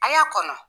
A y'a kɔnɔ